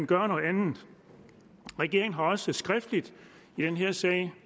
gør noget andet regeringen har også skriftligt i den her sag